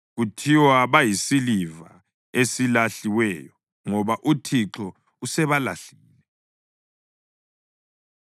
Kuthiwa bayisiliva esilahliweyo, ngoba uThixo usebalahlile.”